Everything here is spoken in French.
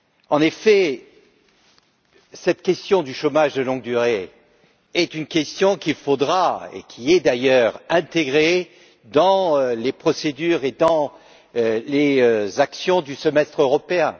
En effet, cette question du chômage de longue durée est une question qu'il faudra intégrer, et qui est d'ailleurs intégrée dans les procédures et les actions du Semestre européen.